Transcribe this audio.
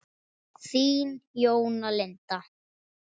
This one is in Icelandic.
Þín Jóna Linda.